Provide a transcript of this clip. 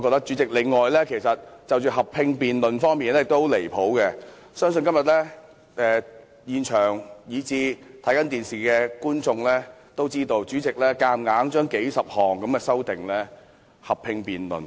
此外，我認為合併辯論的安排十分離譜，相信今天現場和正在收看電視的市民都看到，主席強行將數十項修訂合併辯論。